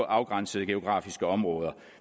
afgrænsede geografiske områder